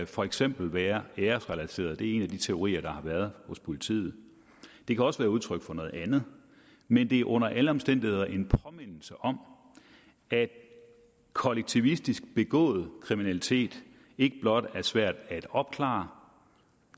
for eksempel være æresrelateret det er en af de teorier der har været hos politiet det kan også være udtryk for noget andet men det er under alle omstændigheder en påmindelse om at kollektivistisk begået kriminalitet ikke blot er svært at opklare